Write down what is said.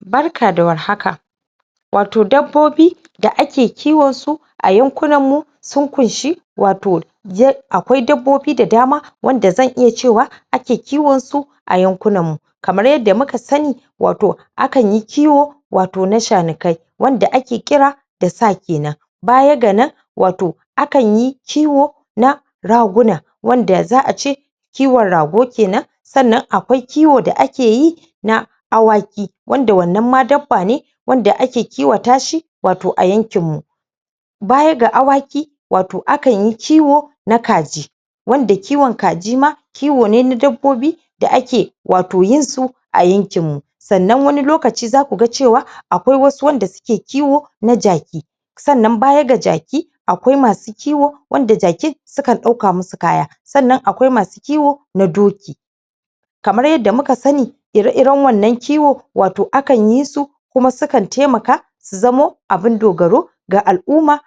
barka da war haka wato dabbobi da ake kiwansu a yankunan mu sun kunshi wato akwai dabbobi da dama wanda zan iya cewa ake kiwansu a yan kunanmu kamar yanda muka sani wato akanyi kiwo wato na shanukai wanda ake kira da sa kenan baya ga nan wato akanyi kiwo na raguna wanda za ace kiwan ragu kenan sannan akwai kiwo da akeyi na awaki wanda wannan ma dabbane da ake kiwatashi wato a yankin mu baya ga awaki wato akanyi kiwo na kaji wanda kiwan kaji ma kiwone na dabbobi da ake wato yinsu a yankin mu sannan wani lokaci zaku ga cewa akwai wasu wanda suke kiwo na jaki sannan baya ga jaki akwai masu kiwo wanda jaki sukan ɗauka musu kaya sannan akwai masu kiwo na doki kamar yanda muka sani ire iran wannan kiwan wato akan yisu kuma sukan taimaka su zamo abun dogaro ga al'umma